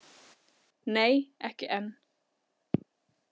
Nei, ekki enn.